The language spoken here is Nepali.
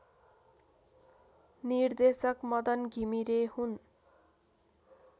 निर्देशक मदन घिमिरे हुन्